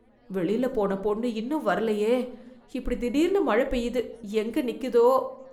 வெளில போன பொண்ணு இன்னும் வரலையே, இப்படி திடீர்னு மழ பெய்யுது, எங்க நிக்குதோ?